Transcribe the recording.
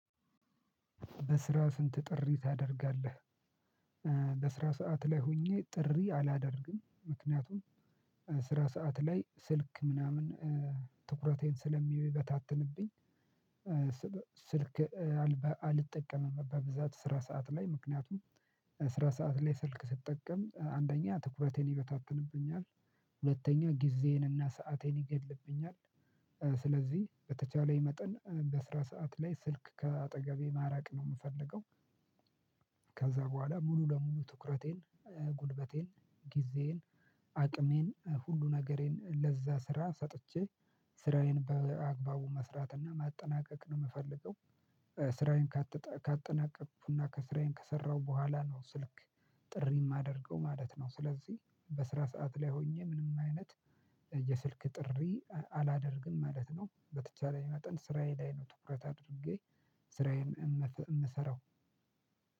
በስራ ስንት ጥሪ ታደርጋለህ? በስራ ሰዓት ላይ ሆኜ ጥሪ አላደርግም ምክንያቱም ስራ ሰዓት ላይ ስልክ ምናምን ትኩረቴን ስለሚበታትንብኝ። ስልክ አልጠቀምም በብዛት ስራ ሰዓት ላይ ምክንያቱም ስራ ሰዓት ላይ ስልክ ስትጠቀም አንደኛ ትኩረቴን ይበታተንብኛል። ሁለተኛ ጊዜዬን እና ሰአቴን ይገድልብኛል። ስለዚህ በተቻለይ መጠን በስራ ሰዓት ላይ ስልክ ከአጠገቤ ማራቅ ነው ምፈልገው። ከዛ በኋላ ሙሉ ለሙሉ ትኩረቴን ጉልበቴን ጊዜዬን አቅሜን ሁሉ ነገሬን ለዛ ስራ ሰጥቼ ስራዬን በአግባቡ መስራት እና ማጠናቀቅ ነው ምፈልገው። ስራዬን ካጠናቀኩና ከስራዬን ከሰራሁ በኋላ ነው ስልክ ጥሪ ማደርገው ማለት ነው። ስለዚህ በስራ ሰዓት ላይ ሆኜ ምንም አይነት የስልክ ጥሪ አላደርግም ማለት ነው። በተቻለኝ መጠን ስራዬ ላይ ነው ትኩረት አድርጌ ስራዬን እምሰራው።